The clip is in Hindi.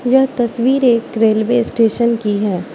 यह तस्वीर एक रेलवे स्टेशन की है।